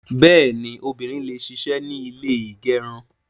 Bẹ́ẹ̀ni, obìnrin le ṣisẹ́ ní ilé ígẹrun